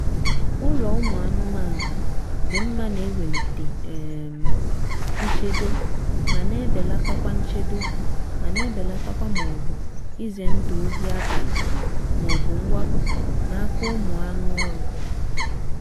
ụlọ ụmụ anụmanụ dị mma na-ewelite um nchedo ma na-ebelatakwa nchedo ma na-ebelatakwa maọbụ ize ndụ ohi abalị maọbu mwakpo n'aka ụmụ anụ oru